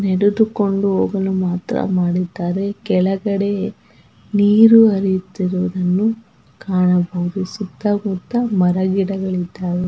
ನಡೆದುಕೊಂಡು ಹೋಗಲು ಮಾತ್ರ ಮಾಡಿದ್ದಾರೆ ಕೆಳಗಡೆ ನೀರು ಹರಿಯುತ್ತಿರುವುದನ್ನು ಕಾಣಬಹುದು ಸುತ್ತ ಮುತ್ತ ಮರ ಗಿಡಗಳು ಇದ್ದವೇ.